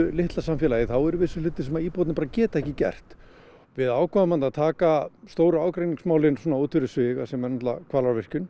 litla samfélagi þá eru vissir hlutir sem að íbúarnir geta ekki gert við ákváðum að taka stóru ágreiningsmálin út fyrir sviga sem eru Hvalárvirkjun